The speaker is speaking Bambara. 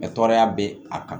tɔɔrɔya bɛ a kan